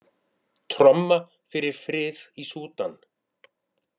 Tromma fyrir frið í Súdan